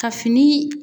Ka fini